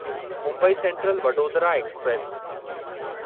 Mumbai central Vadodara express